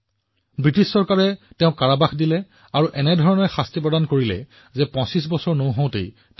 British শাসনে তেওঁক বন্দী কৰি ৰাখিছিল তেওঁক ইমান অত্যাচাৰ কৰা হৈছিল যে তেওঁ আমাক ২৫ বছৰতকৈ কম বয়সতে এৰি গৈছিল